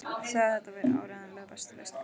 Sagði að þetta væri áreiðanlega besta lausnin.